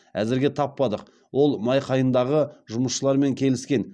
әзірге таппадық ол майқайыңдағы жұмысшылармен келіскен